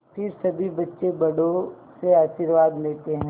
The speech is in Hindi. फिर सभी बच्चे बड़ों से आशीर्वाद लेते हैं